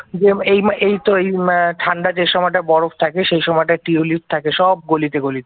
এইতো এই উম ঠান্ডা যে সময়টা বরফ থাকে সেই সময়টা টিউলিপ থাকে সব গলিতে গলিতে